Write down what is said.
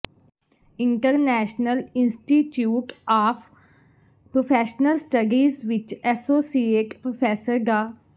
international institute of professional studies ਵਿਚ associate professor ਡਾ